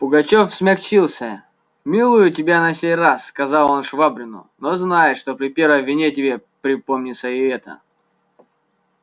пугачёв смягчился милую тебя на сей раз сказал он швабрину но знай что при первой вине тебе припомнится и эта